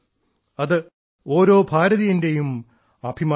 അത് ഓരോ ഭാരതീയന്റെയും അഭിമാനമാണ്